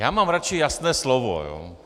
Já mám radši jasné slovo.